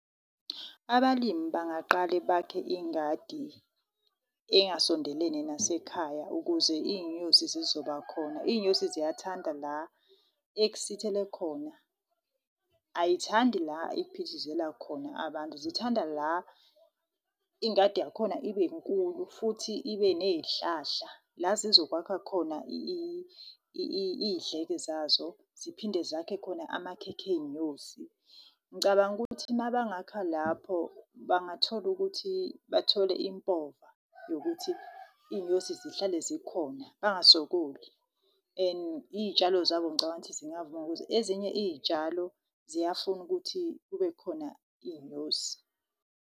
Abalimi bangaqala bakhe ingadi engasondelene nasekhaya ukuze iy'nyosi zizobakhona. Iy'nyosi ziyathanda la ekusithele khona, ayithandi la ekuphithizela khona abantu. Zithanda la ingadi yakhona ibe nkulu, futhi ibe neyihlahla la zizokwakha khona iy'dleke zazo, ziphinde zakhe khona amakhekhe ey'nyosi. Ngicabanga ukuthi uma bangakha lapho bangathola ukuthi bathole impova yokuthi iy'nyosi zihlale zikhona bangasokoli. And iy'tshalo zabo ngicabanga ukuthi zingavuna ukuthi ezinye iyitshalo ziyafuna ukuthi kube khona iy'nyosi.